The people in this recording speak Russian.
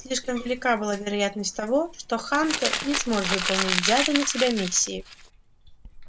слишком велика была вероятность того что хантер не сможет выполнить взятой на себя миссии